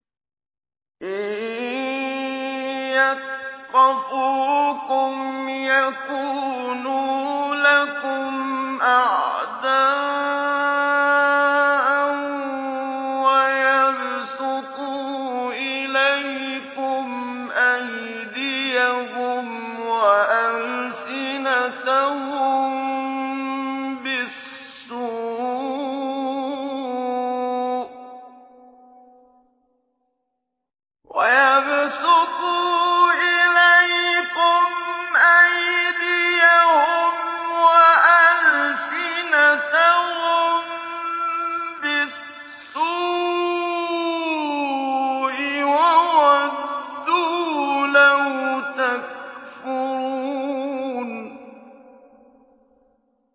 إِن يَثْقَفُوكُمْ يَكُونُوا لَكُمْ أَعْدَاءً وَيَبْسُطُوا إِلَيْكُمْ أَيْدِيَهُمْ وَأَلْسِنَتَهُم بِالسُّوءِ وَوَدُّوا لَوْ تَكْفُرُونَ